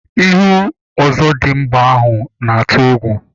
Ihu ọzọdịmgba ahụ na-atụ egwu.